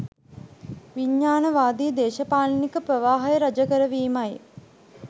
විඥාණවාදී දේශපාලනික ප්‍රවාහය රජ කරවීමයි